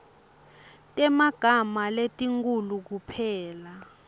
temagama letinkhulu kuphela